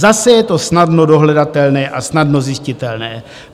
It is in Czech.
Zase je to snadno dohledatelné a snadno zjistitelné.